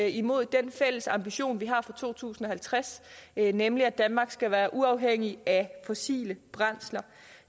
imod den fælles ambition vi har for to tusind og halvtreds nemlig at danmark skal være uafhængig af fossile brændsler